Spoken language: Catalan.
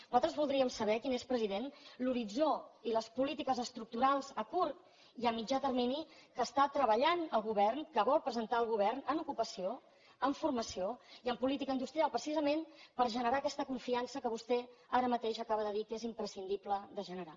nosaltres voldríem saber quin és president l’horitzó i les polítiques estructurals a curt i a mitjà termini que està treballant el govern que vol presentar el govern en ocupació en formació i en política industrial precisament per generar aquesta confiança que vostè ara mateix acaba de dir que és imprescindible de generar